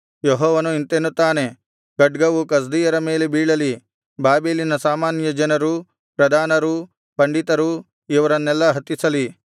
ಯೆಹೋವನು ಇಂತೆನ್ನುತ್ತಾನೆ ಖಡ್ಗವು ಕಸ್ದೀಯರ ಮೇಲೆ ಬೀಳಲಿ ಬಾಬೆಲಿನ ಸಾಮಾನ್ಯ ಜನರು ಪ್ರಧಾನರು ಪಂಡಿತರು ಇವರನ್ನೆಲ್ಲಾ ಹತಿಸಲಿ